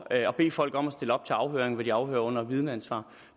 at bede folk om at stille op til afhøring hvor de bliver afhørt under vidneansvar